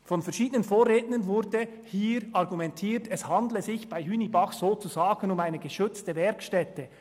Seitens verschiedener Vorredner wurde argumentiert, es handle sich bei Hünibach sozusagen um eine geschützte Werkstätte.